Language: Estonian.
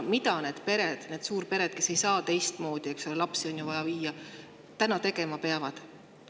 Mida need pered, suurpered, kes ei saa teistmoodi – lapsi on vaja –, tegema peavad?